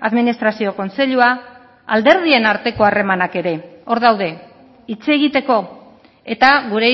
administrazio kontseilua alderdien arteko harremanak ere hor daude hitz egiteko eta gure